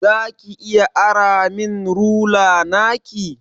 Za ki iya ara min rula naki?